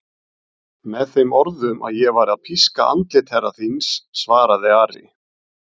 Með þeim orðum að ég væri að píska andlit herra þíns, svaraði Ari.